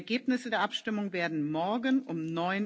Die Ergebnisse der Abstimmung werden morgen um